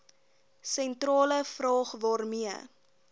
sentrale vraag waarmee